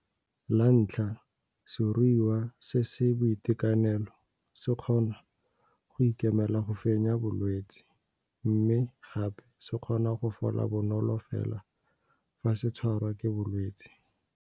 La ntlha, seruiwa se se boitekanelo se kgona go ikemela go fenya bolwetse mme gape se kgona go fola bonolo fela fa se tshwarwa ke bolwetse.